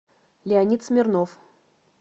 леонид смирнов